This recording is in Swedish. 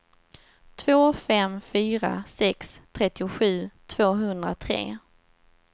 två fem fyra sex trettiosju tvåhundratre